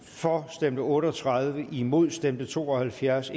for stemte otte og tredive imod stemte to og halvfjerds